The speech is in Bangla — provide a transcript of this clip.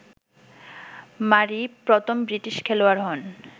মারি প্রথম ব্রিটিশ খেলোয়াড় হন